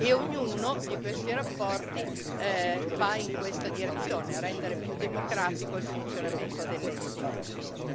E ognuna di queste relazioni va in questa direzione rendere più democratico il funzionamento delle Istituzioni.